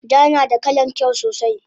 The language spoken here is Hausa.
Ja nada kalan kyau sosai